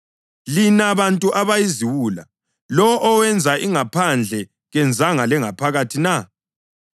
Lina bantu abayiziwula! Lowo owenza ingaphandle kenzanga lengaphakathi na?